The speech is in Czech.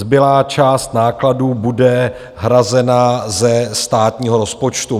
Zbylá část nákladů bude hrazena ze státního rozpočtu.